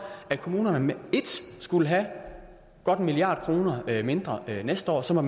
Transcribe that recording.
at kommunerne med ét skulle have godt en milliard kroner mindre næste år og så